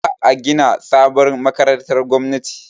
Za a gina sabon makarantar gwamnati.